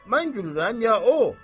Mən gürürəm ya o?"